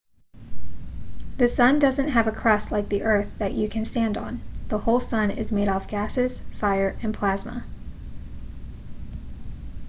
the sun doesn't have a crust like the earth that you can stand on the whole sun is made out of gases fire and plasma